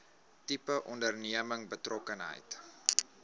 tipe onderneming betrokkenheid